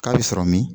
K'a bɛ sɔrɔ min